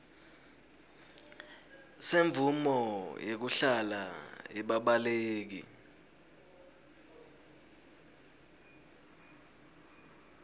semvumo yekuhlala yebabaleki